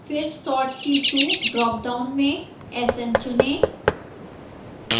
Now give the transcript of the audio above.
फिर sort key 2 dropdown में sn चुनें